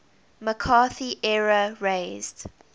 mccarthy era raised